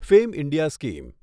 fame India scheme